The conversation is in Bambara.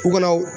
U kɔnɔw